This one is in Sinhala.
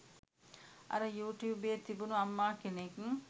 අර යු ටියුබයේ තිබුණු අම්මා කෙනෙක්